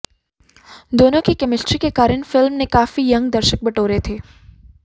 दोनों की केमिस्ट्री के कारण फिल्म ने काफी यंग दर्शक बटोरे थे